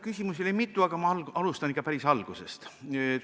Küsimusi oli mitu, aga ma alustan ikka päris algusest.